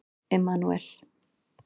Emanúel